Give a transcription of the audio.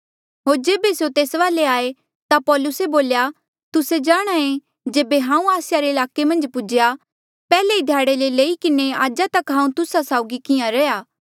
होर जेबे स्यों तेस वाले आये ता पौलूसे बोल्या तुस्से जाणहां ऐें जेबे हांऊँ आसिया रे ईलाके मन्झ पुज्हेया पैहले ई ध्याड़े ले लेई किन्हें आजा तक हांऊँ तुस्सा साउगी किहां रैंहयां